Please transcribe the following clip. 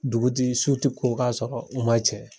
Dugu ti su ti k ko k'a sɔrɔ u m'a cɛ.